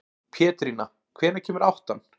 Pétrína, hvenær kemur áttan?